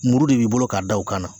Muru de b'i bolo k'a da o kan na.